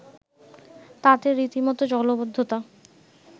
তাতে রীতিমত জলাবদ্ধতা